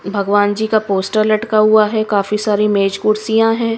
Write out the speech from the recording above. भगवान जी का पोस्टर लटका हुआ है काफी सारी मेज कुर्सियां है।